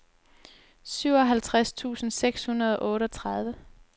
syvoghalvtreds tusind seks hundrede og otteogtredive